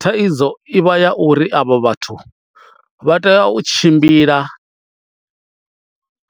Thaidzo i vha ya uri avho vhathu vha tea u tshimbila